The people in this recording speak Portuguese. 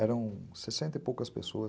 Eram sessenta e poucas pessoas